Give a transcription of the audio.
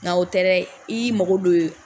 Nka o tɛ dɛ i y'i mago don ye